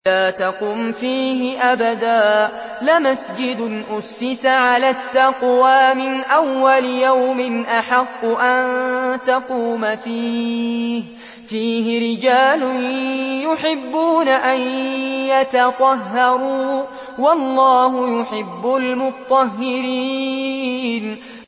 لَا تَقُمْ فِيهِ أَبَدًا ۚ لَّمَسْجِدٌ أُسِّسَ عَلَى التَّقْوَىٰ مِنْ أَوَّلِ يَوْمٍ أَحَقُّ أَن تَقُومَ فِيهِ ۚ فِيهِ رِجَالٌ يُحِبُّونَ أَن يَتَطَهَّرُوا ۚ وَاللَّهُ يُحِبُّ الْمُطَّهِّرِينَ